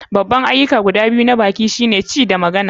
Babban ayyuka guda biyu na baki shine ci da magana.